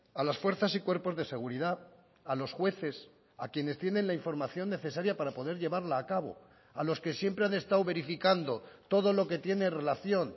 a las fuerzas y cuerpos de seguridad a los jueces a quienes tienen la información necesaria para poder llevarla a cabo a los que siempre han estado verificando todo lo que tiene relación